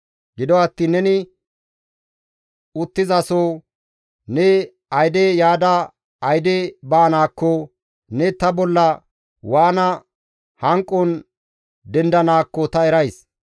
«Gido attiin neni uttizaso, ne ayde yaada ayde baanaakko, ne ta bolla waana hanqon dendanaakko ta erays.